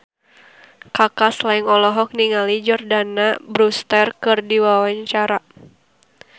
Kaka Slank olohok ningali Jordana Brewster keur diwawancara